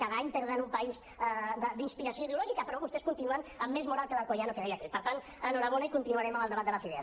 cada any perden un país d’inspiració ideològica però vostès continuen amb més moral que l’per tant enhorabona i continuarem amb el debat de les idees